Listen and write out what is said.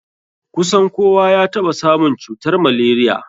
Kusan kowa ya taɓa samun cutar malaria.